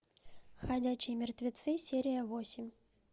ходячие мертвецы серия восемь